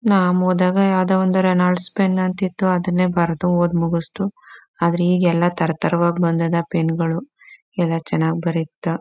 ನಾಮ್ ಓದಾಗ ಯಾವ್ದೋ ಒಂದು ರೆನೊಲ್ಡ್ಸ್ ಪೆನ್ ಅಂತ ಇತ್ತು ಅದ್ನೇ ಬರ್ದು ಓದು ಮೂಗ್ಸ್ದವು. ಆದ್ರೆ ಈಗ ಎಲ್ಲ ತರ್ ತರವಾಗ್ ಬಂದದ ಪೆನ್ ಗಳು ಎಲ್ಲ ಚನ್ನಾಗ್ ಬರೀತಾ--